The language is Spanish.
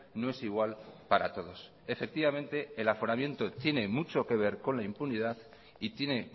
no es igual para todos efectivamente el aforamiento tiene mucho que ver con la impunidad y tiene